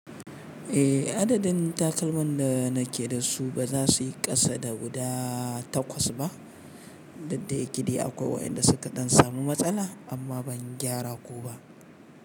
Eh adadin takalman da nake da su ba za su yi kasa da guda takwas ba, dukda yake dai akwai wanda suka ɗan samu matsala amma ban gyara ko ba.